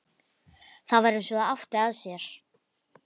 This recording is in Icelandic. Það var eins og það átti að sér.